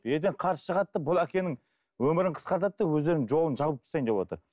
ертең қарсы шығады да бұл әкенің өмірін қысқартады да өздерінің жолын жауып тастайын деп отыр